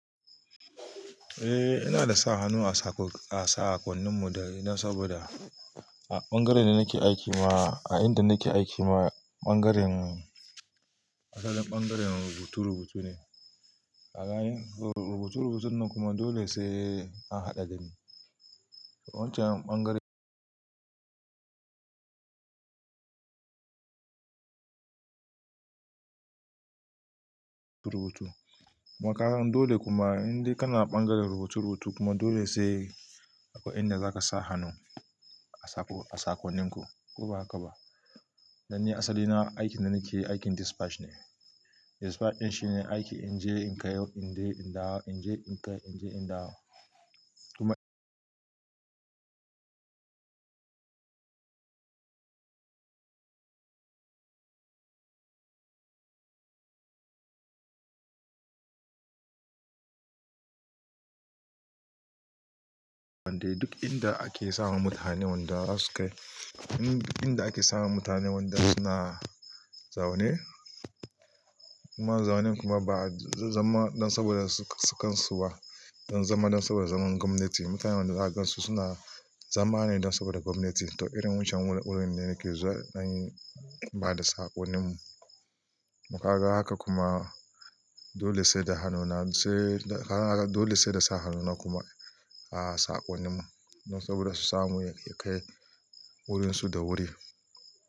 Eh, ina da sa hannu a sakon, a sakonnin mu dai dan saboda a ɓangaren da nake aiki ma, a inda nake aiki ma ɓangaren asalin ɓangaren rubutu rubutu ne. A yayin rubutu rubutun nan kuma dole sai an haɗa dani. Wancan ɓangare rubutu. Kuma kagan dole kuma in dai kana ɓangaren rubutu rubutu kuma dole sai aƙwai inda za ka sa hannu a sako, a sakonin ku. Ko ba haka ba? Danni asali na aikin da nake aikin dispatch ne. Dispatch ɗin shine aiki in je in kai, in je in dawo, in je in kai, in je in dawo. Kuma wanda duk inda ake sawa mutane wanda za su kai, in inda ake sawa mutane wanda suna zaune. Kuma zaunen kuma ba zama dan saboda su su kansu ba. Don zama dan saboda zaman gwamnati. Mutane wanda zaka gansu suna zama ne dan saboda gwamnati. To irin wancan wuri wurin ne nake zuwa dan bada sakonin mu. Kuma kaga haka kuma dole sai da hannuna sai, dan kaga dole sai da sa hannuna kuma a sakonin mu. Don saboda su samu ya kai wurin su da wuri.